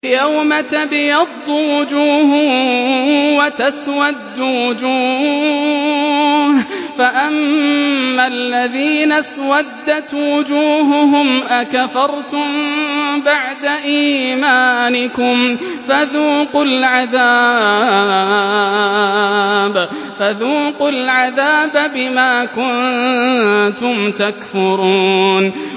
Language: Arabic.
يَوْمَ تَبْيَضُّ وُجُوهٌ وَتَسْوَدُّ وُجُوهٌ ۚ فَأَمَّا الَّذِينَ اسْوَدَّتْ وُجُوهُهُمْ أَكَفَرْتُم بَعْدَ إِيمَانِكُمْ فَذُوقُوا الْعَذَابَ بِمَا كُنتُمْ تَكْفُرُونَ